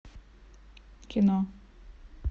кино